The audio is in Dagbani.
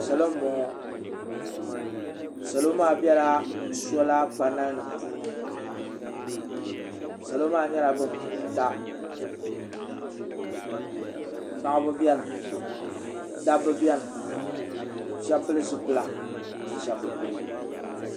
salo n bɔŋɔ salo maa biɛla soola panal nim puuni salo maa nyɛla bin pu buta paɣaba biɛni dabba biɛni shab pili zipila ka shab bi pili